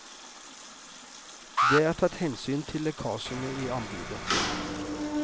Det er tatt hensyn til lekkasjene i anbudet.